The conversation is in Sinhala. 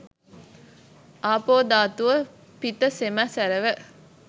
ආපෝ ධාතුව පිත සෙම සැරව